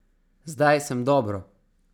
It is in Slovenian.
Zdaj sem dobro.